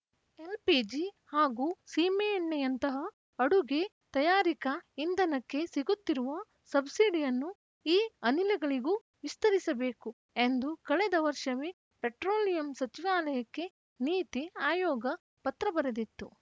LPG ಹಾಗೂ ಸೀಮೆಎಣ್ಣೆಯಂತಹ ಅಡುಗೆ ತಯಾರಿಕಾ ಇಂಧನಕ್ಕೆ ಸಿಗುತ್ತಿರುವ ಸಬ್ಸಿಡಿಯನ್ನು ಈ ಅನಿಲಗಳಿಗೂ ವಿಸ್ತರಿಸಬೇಕು ಎಂದು ಕಳೆದ ವರ್ಷವೇ ಪೆಟ್ರೋಲಿಯಂ ಸಚಿವಾಲಯಕ್ಕೆ ನೀತಿ ಆಯೋಗ ಪತ್ರ ಬರೆದಿತ್ತು